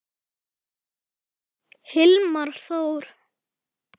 Hilmar Þór.